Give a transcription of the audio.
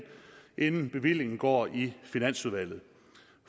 inden bevillingen så går i finansudvalget